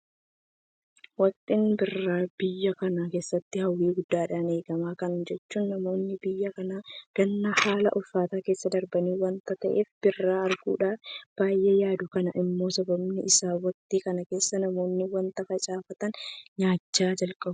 Waktiin birraa biyya kana keessatti hawwii guddaadhaan eegama. Kana jechuun namoonni biyya kanaa ganna haala ulfaataa keessa darbu waanta ta'eef birraa arguudhaaf baay'ee yaadu. Kun immoo sababni isaa waktii kana keessa namoonni waanta facaafatan nyaachuu jalqabu.